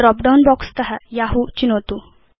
drop down box त यहू चिनोतु